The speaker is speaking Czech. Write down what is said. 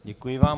Děkuji vám.